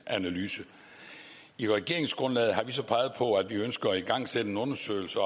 analyse i regeringsgrundlaget har vi så peget på at vi også ønsker at igangsætte en undersøgelse